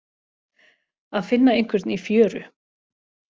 Að finna einhvern í fjöru